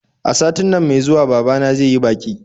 A satin nan mai zuwa babana zai yi baƙi